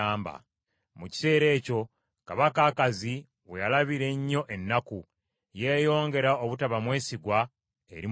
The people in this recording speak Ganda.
Mu kiseera ekyo kabaka Akazi we yalabira ennyo ennaku, yeeyongera obutaba mwesigwa eri Mukama .